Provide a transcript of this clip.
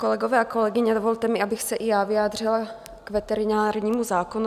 Kolegové a kolegyně, dovolte mi, abych se i já vyjádřila k veterinárnímu zákonu.